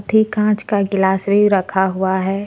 एक कांच का गिलास भी रखा हुआ है।